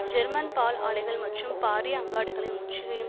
German பால் ஆலைகள் மற்றும் பாரிய அங்காடிகளின் முற்றுகையையும்